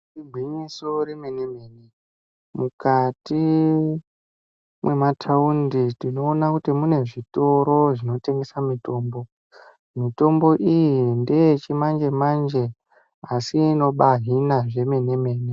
Igwinyiso remene mene mukati mwemataundi tinoona kuti mune zvitoro zvinotengesa mitombo. Mitombo iyi ndeyechimanje manje asi inobahina zvemene mene.